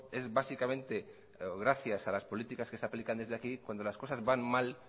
es básicamente gracias a las políticas que se aplican desde aquí cuando las cosas van mal